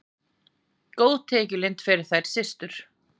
Góð tekjulind fyrir þær systur.